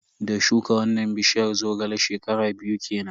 Da shuka wannan bishiyar Zogale, shekara biyu kenan.